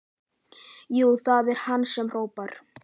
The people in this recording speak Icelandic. Jú, það er hann sem hrópar.